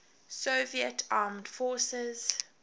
soviet armed forces